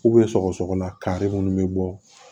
sɔgɔsɔgɔla kari munnu be bɔ